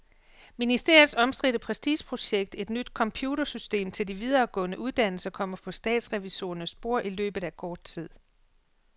Ministeriets omstridte prestigeprojekt, et nyt computersystem til de videregående uddannelser, kommer på statsrevisorernes bord i løbet af kort tid.